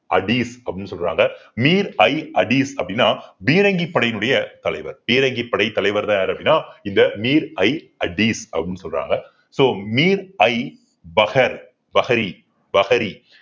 அப்படின்னு சொல்றாங்க அப்படின்னா பீரங்கி படையினுடைய தலைவர் பீரங்கிப்படை தலைவர்தான் யாரு அப்படின்னா இந்த அப்படின்னு சொல்றாங்க so